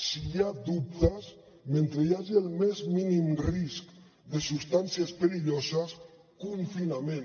si hi ha dubtes mentre hi hagi el més mínim risc de substàncies perilloses confinament